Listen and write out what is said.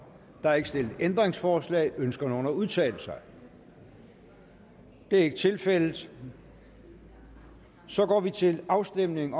er ikke stillet ændringsforslag ønsker nogen at udtale sig det er ikke tilfældet så går vi til afstemning